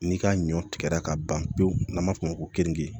N'i ka ɲɔ tigɛra ka ban pewu n'an b'a f'o ma ko kenige